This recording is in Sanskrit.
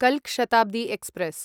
कल्क शताब्दी एक्स्प्रेस्